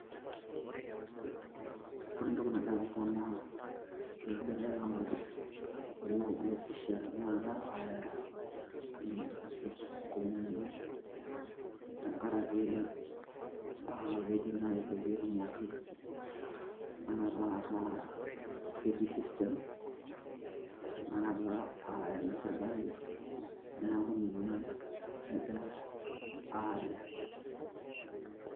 Ore entoki nagira aasa naa kegirai aawosh olee obo pisha aaya entoki naji passport enkomom enye tenkaraki keji naaji pee etumoki tinakata ataa ketii system tenakata aa ene serkali neeku ninye egirai aaya.